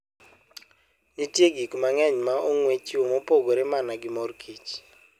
Nitie gik mang'eny ma ong'we chiwo mopogore mana gi mor kich.